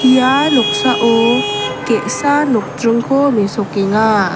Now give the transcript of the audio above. ia noksao ge·sa nokdringko mesokenga.